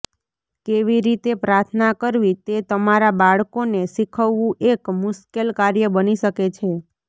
કેવી રીતે પ્રાર્થના કરવી તે તમારા બાળકોને શીખવવું એક મુશ્કેલ કાર્ય બની શકે છે